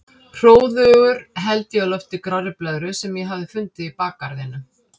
Hróðugur held ég á lofti grárri blöðru sem ég hafði fundið í bakgarðinum.